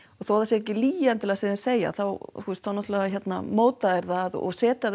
og þótt það sé ekki lygi endilega sem þeir segja þá þú veist þá móta þeir það og setja